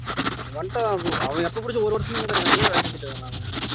வந்துட்டானா அவன் எப்ப புடிச்சு ஒரு வருஷமா இங்கதான் வேல செஞ்சுட்டு இருக்கான்டா அவன்